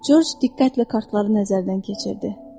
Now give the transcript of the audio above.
Corc diqqətlə kartları nəzərdən keçirdi.